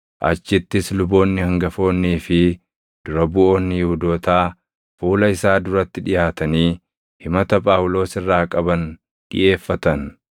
achittis luboonni hangafoonnii fi dura buʼoonni Yihuudootaa fuula isaa duratti dhiʼaatanii himata Phaawulos irraa qaban dhiʼeeffatan.